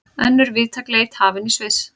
Önnur víðtæk leit hafin í Sviss